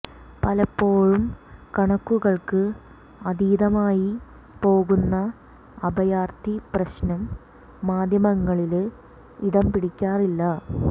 പലപ്പോഴും കണക്കുകള്ക്ക് അതീതമായി പോകുന്ന അഭയാര്ഥി പ്രശ്നം മാധ്യമങ്ങളില് ഇടം പിടിക്കാറില്ല